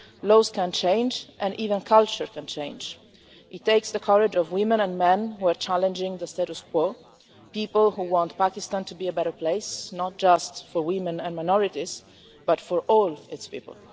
Laws can change and even culture can change. It takes the courage of women and men who are challenging the status quo people who want Pakistan to be a better place, not just for women and minorities but for all its people.